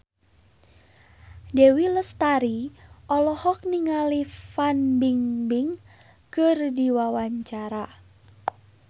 Dewi Lestari olohok ningali Fan Bingbing keur diwawancara